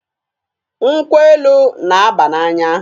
Nkwọ elu na-aba n'anya.